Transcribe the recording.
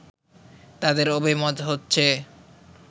তাঁদের অভিমত হচ্ছে